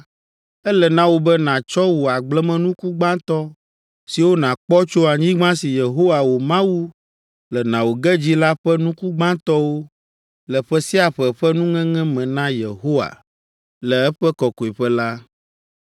ele na wò be nàtsɔ wò agblemenuku gbãtɔ siwo nàkpɔ tso anyigba si Yehowa wò Mawu le na wò ge dzi la ƒe nuku gbãtɔwo le ƒe sia ƒe ƒe nuŋeŋe me na Yehowa le eƒe kɔkɔeƒe la.